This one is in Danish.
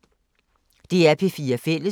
DR P4 Fælles